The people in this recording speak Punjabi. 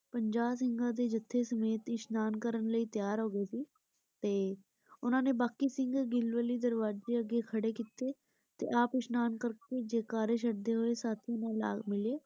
ਪੰਜਾਂ ਸਿੰਘ ਦੇ ਜਥੇ ਸਮੇਤ ਇਸਨਾਨ ਕਰਨ ਲਈ ਤਿਆਰ ਹੋ ਗਏ ਸੀ ਤੇ ਉਨ੍ਹਾਂ। ਨੇ ਬਾਕੀ ਸਿੰਘ . ਦਰਵਾਜੇ ਅੱਗੇ ਖੜੇ ਕੀਤੇ ਤੇ ਆਪ ਇਸਨਾਨ ਕਰਕੇ ਜੈ ਕਾਰੇ ਛੱਡ ਹੋਏ ਸਾਥੀ ਨਾਲ ਜਾ ਮਿਲੇ।